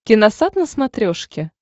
киносат на смотрешке